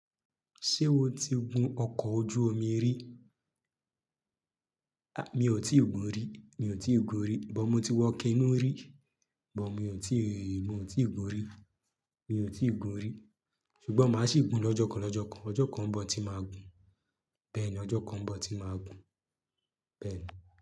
Ṣé o ti gun ọkọ̀ ojú omi rí? Mi ò tí ì gun-un rí, mi ò tí ì gun rí, but mo ti wọ canoe rí, but mi ò tí ì, mi ò tí ì gun rí, mi ò tí ì gun rí. Sugbon máa sì gun lọ́jọ́ kan lọ́jọ́ kan. Ọjọ́ kan ń bọ̀ tí màá gun. Beeni, ọjọ́ kan ń bọ̀ tí màá gun, beeni.